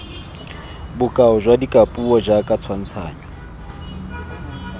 bokao jwa dikapuo jaoka tshwantshanyo